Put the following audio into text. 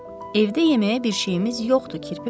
Evdə yeməyə bir şeyimiz yoxdur, kirpi qardaş.